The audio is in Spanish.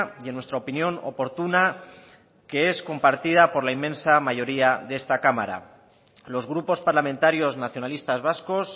y en nuestra opinión oportuna que es compartida por la inmensa mayoría de esta cámara los grupos parlamentarios nacionalistas vascos